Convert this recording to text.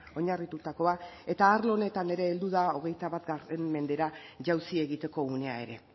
oinarritutakoa eta arlo honetan ere heldu da hogeita bat mendera jauzi egiteko unea ere